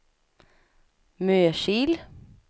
Mörsil